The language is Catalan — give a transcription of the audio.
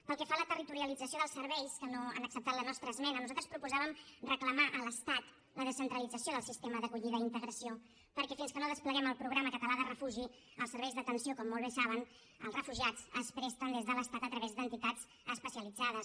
pel que fa a la territorialització dels serveis que no han acceptat la nostra esmena nosaltres proposàvem reclamar a l’estat la descentralització del sistema d’acollida i integració perquè fins que no despleguem el programa català de refugi els serveis d’atenció com molt bé saben als refugiats es presten des de l’estat a través d’entitats especialitzades